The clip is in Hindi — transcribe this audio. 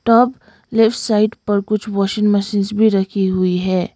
और लेफ्ट साइड पर कुछ वाशिंग मशीन्स भी रखी हुई है।